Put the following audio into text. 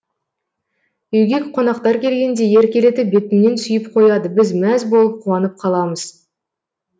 үйге қонақтар келгенде еркелетіп бетімнен сүйіп қояды біз мәз болып қуанып қаламыз